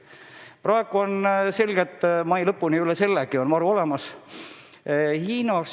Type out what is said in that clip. Praegu on selge, et mai lõpuni ja üle sellegi on varu olemas.